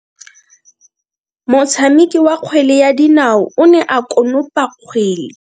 Motshameki wa kgwele ya dinao o ne a konopa kgwele.